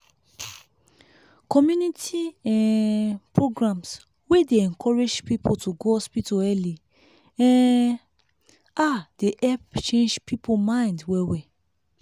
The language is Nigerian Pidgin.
community um programs wey dey encourage people to go hospital early um ah dey help change people mind well well.